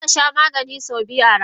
Zakasha Maganin sau biyu a rana.